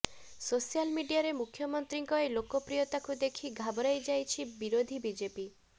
social ମଡିଆରେ ମୁଖ୍ୟମନ୍ତ୍ରୀଙ୍କ ଏ ଲୋକପ୍ରିୟତାକୁ ଦେଖି ଘାବରାଇ ଯାଇଛି ବିରୋଧୀ ବିଜେପି